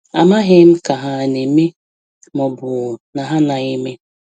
Amaghị m Ka ha ana eme, ma ọbu na ha anaghị eme.